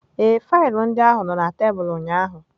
Ee, faịlụ ndị ahụ nọ na tebụl ụnyaahụ.